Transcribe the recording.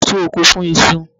A máa ń tu oko fún iṣu.